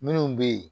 Minnu bɛ yen